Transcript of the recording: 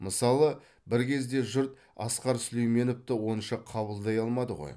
мысалы бір кезде жұрт асқар сүлейменовті онша қабылдай алмады ғой